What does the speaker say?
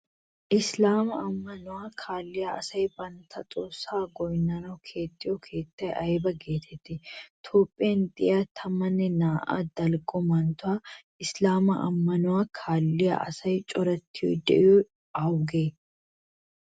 Isilaamaa ammanuwa kaalliya asay bantta xoossaa goynnanawu keexxiyo keettay ayba geetettii? Toophphiyan de'iya 12 dalgga manttetun isilaamaa ammanuwa kaalliya asay corattidi de'iyogee awugee?